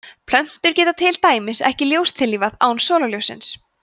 plöntur geta til dæmis ekki ljóstillífað án sólarljóssins